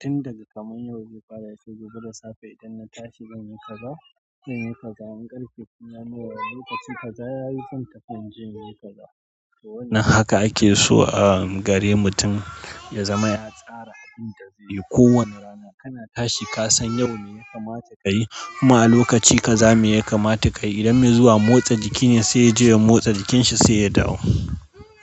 tun daga kamar yau zai fara yace gobe da safe. Idan na tashi zan yi kaza, zan yi kaza, in ƙarfe tun ya nuna lokaci kaza ya yi, zan tafi in je in yi kaza. To wannan haka ake so ahm gare mutum ya zama ya tsara abin da zai yi kowane rana. Kana tashi ka san yau me ya kamata ka yi kuma a lokaci ka za me ya kamata ka yi. Idan mai zuwa motsa jiki ne sai ya je ya motsa jikin shi sai ya dawo.